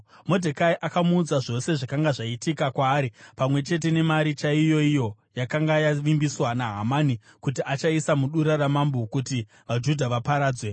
Modhekai akamuudza zvose zvakanga zvaitika kwaari, pamwe chete nemari chaiyoiyo yakanga yavimbiswa naHamani kuti achaisa mudura ramambo kuti vaJudha vaparadzwe.